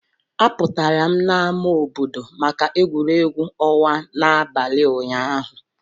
Apụtara m na ámá obodo maka egwuregwu ọnwa n'abalị ụnyaahụ.